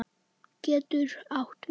getur átt við